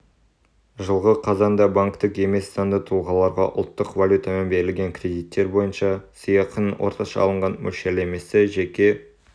жылғы қазанда банктік емес заңды тұлғаларға ұлттық валютамен берілген кредиттер бойынша сыйақының орташа алынған мөлшерлемесі жеке